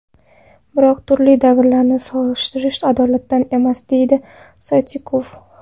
Biroq turli davrlarni solishtirish adolatdan emas”, deydi Stoichkov.